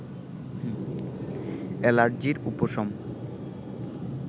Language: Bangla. অ্যালার্জির উপশম